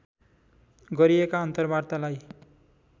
गरिएका अन्तर्वार्तालाई